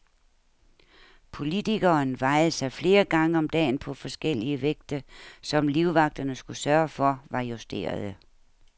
Politikeren vejede sig flere gange om dagen på forskellige vægte, som livvagterne skulle sørge for var justerede.